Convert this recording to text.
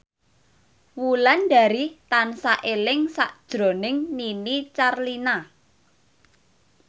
Wulandari tansah eling sakjroning Nini Carlina